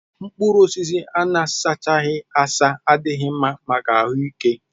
Mkpụrụ osisi a na-asachaghị asa adịghị mma maka ahụ ike